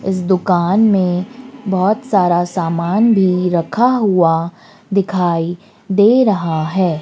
इस दुकान में बहोत सारा सामान भी रखा हुआ दिखाई दे रहा है।